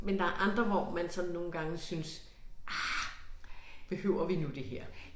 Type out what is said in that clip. Men der andre hvor man sådan nogle gange synes ah behøver vi nu det her